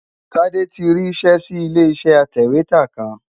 Tade ti rí iṣẹ́ sí ilé iṣẹ́ atẹ̀wétà kan.